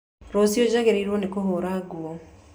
Rũciũ njagĩrĩirwo nĩ kũhũra nguo